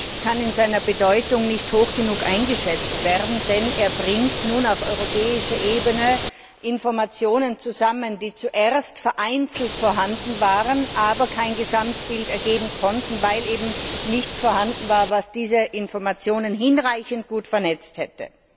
Dieser Bericht kann in seiner Bedeutung nicht hoch genug eingeschätzt werden, denn er bringt nun auf europäischer Ebene Informationen zusammen, die zuerst vereinzelt vorhanden waren, aber kein Gesamtbild ergeben konnten, weil eben nichts vorhanden war, was diese Informationen hinreichend gut vernetzt hätte.